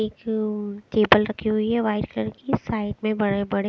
एक अ केबल रख हुई है वाइट कलर की साइड में बड़े बड़े --